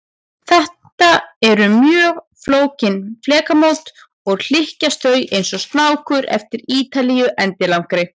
Þetta eru mjög flókin flekamót, og hlykkjast þau eins og snákur eftir Ítalíu endilangri.